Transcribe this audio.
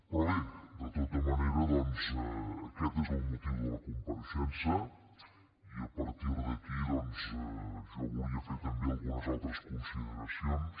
però bé de tota manera doncs aquest és el motiu de la compareixença i a partir d’aquí jo volia fer també algunes altres consideracions